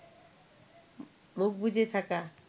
মুখ বুজে থাকা